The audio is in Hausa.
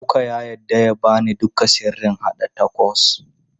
Luka ya yarda ya ba ni duka sirrin haɗa tacos.